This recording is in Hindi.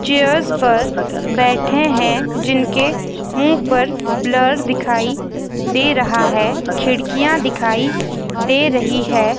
चेयर्स पर बैठे हैं जिनके मुंह पर ब्लर दिखाई दे रहा है खिड़कियां दिखाई दे रही है।